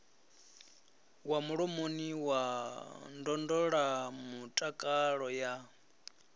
wa mulomoni na ndondolamutakalo ya